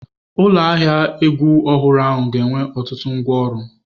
Ụlọ ahịa egwu ọhụrụ ahụ ga-enwe ọtụtụ ngwá ọrụ.